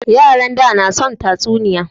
Yaran da na son tatsuniya